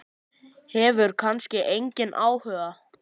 Hefur kannski engan áhuga.